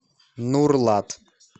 нурлат